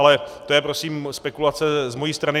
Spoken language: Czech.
Ale to je prosím spekulace z mojí strany.